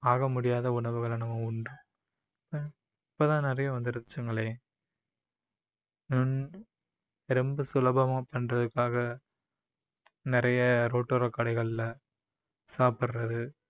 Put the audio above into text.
ஆகமுடியாத உணவுகளை நம்ம உண்டோம் இப்போ தான் நிறைய வந்துருச்சுங்களே ஹம் ரொம்ப சுலபமா பண்றதுக்காக நிறைய road ஓர கடைகளில சாப்பிடுறது